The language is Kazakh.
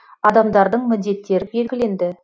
адамдардың міндеттері белгіленді